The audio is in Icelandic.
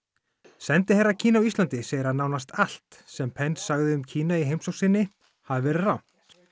sendiherra Kína á Íslandi segir að nánast allt sem sagði um Kína í heimsókn sinni hafi verið rangt